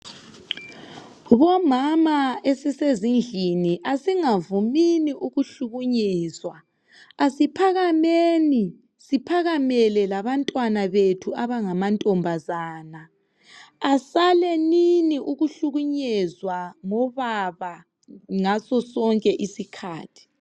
Bomama esisezindlini asingavumini ukuhlukunyezwa, asiphakameni siphakamele labantwana bethu abangama ntombazana. Asalenini ukuhlukunyezwa ngobaba ngaso sonke isikhathi.